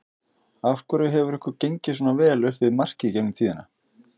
Af hverju hefur ykkur gengið svona vel upp við markið í gegnum tíðina?